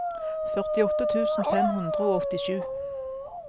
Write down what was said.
førtiåtte tusen fem hundre og åttisju